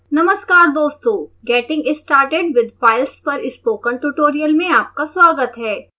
नमस्कार दोस्तों getting started with files पर स्पोकन ट्यूटोरियल में आपका स्वागत है